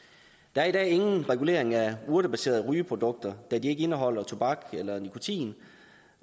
der er i dag ingen regulering af urtebaserede rygeprodukter da de ikke indeholder tobak eller nikotin